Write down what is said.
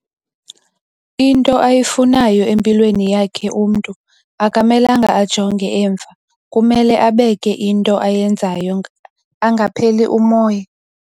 into ayi funayo empilweni yakhe muntu aka melanga a jonge emva kumele a beke ento ayenzayo anga pheli umoya